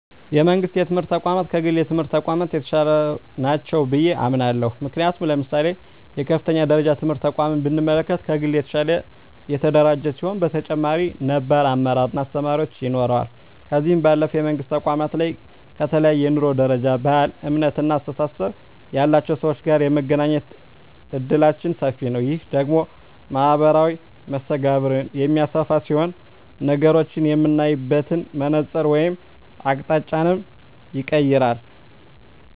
የመንግስት የትምህርት ተቋማት ከግል የትምህርት ተቋማት የተሻሉ ናቸው ብየ አምናለሁ። ምክንያቱም ለምሳሌ የከፍተኛ ደረጃ ትምህርት ተቋምን ብንመለከት ከግል የተሻለ የተደራጀ ሲሆን በተጨማሪም ነባር አመራር እና አስተማሪዎች ይኖረዋል። ከዚህ ባለፈም የመንግስት ተቋማት ላይ ከተለያየ የኑሮ ደረጃ፣ ባህል፣ እምነት እና አስተሳሰብ ያላቸው ሰወች ጋር የመገናኘት እድላችን ሰፊ ነዉ። ይህ ደግሞ ማህበራዊ መስተጋብርን የሚያሰፋ ሲሆን ነገሮችን የምናይበትን መነፀር ወይም አቅጣጫንም ይቀየራል።